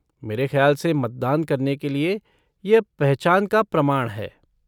मेरे खयाल से मतदान करने के लिए यह पहचान का प्रमाण है।